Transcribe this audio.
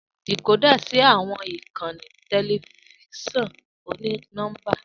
Decoder ṣí àwọn ìkànnì tẹlifíṣàn oni-nọmba.